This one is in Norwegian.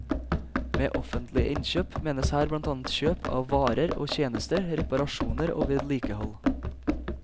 Med offentlige innkjøp menes her blant annet kjøp av varer og tjenester, reparasjoner og vedlikehold.